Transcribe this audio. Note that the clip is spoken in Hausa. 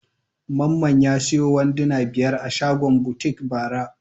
Mamman ya sayo wanduna biyar a shagon butik bara.